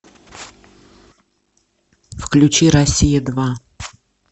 включи россия два